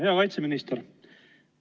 Hea kaitseminister!